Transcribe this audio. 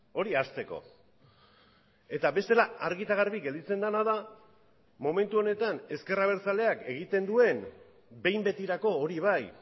hori hasteko eta bestela argi eta garbi gelditzen dena da momentu honetan ezker abertzaleak egiten duen behin betirako hori bai